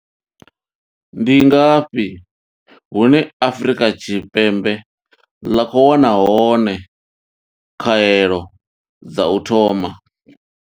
Ndi ngafhi hune Afrika Tshipembe ḽa khou wana hone khaelo dza u thoma.